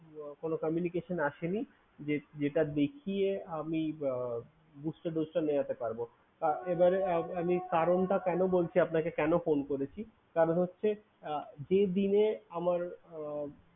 কোনো communication আসেনি। যে~ যেটা দেখিয়ে আমি বা booster dose টা নেওয়াতে পারবো। এবারে আমি কারণটা কেন বলছি আপনাকে কেন phone করেছি? কারণ হচ্ছে আহ যে দিনে আমার আহ